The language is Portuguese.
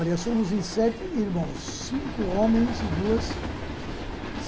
Olha, somos em sete irmãos. Cinco homens e duas